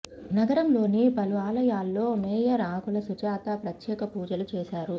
నగరంలోని పలు ఆలయాల్లో మేయర్ ఆకుల సుజాత ప్రత్యేక పూజలు చేశారు